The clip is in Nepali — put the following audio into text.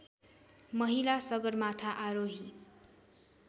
महिला सगरमाथा आरोही